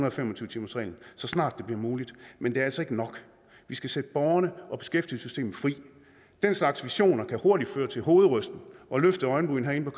og fem og tyve timersreglen så snart det bliver muligt men det er altså ikke nok vi skal sætte borgerne og beskæftigelsessystemet fri den slags visioner kan hurtigt føre til hovedrysten og løftede øjenbryn herinde